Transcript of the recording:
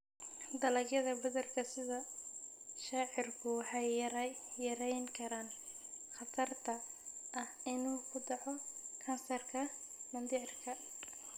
Dalagyada badarka sida shaciirku waxay yarayn karaan khatarta ah inuu ku dhaco kansarka mindhicirka.